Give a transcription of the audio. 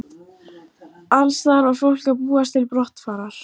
Alls staðar var fólk að búast til brottfarar.